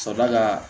Ka sɔrɔ ka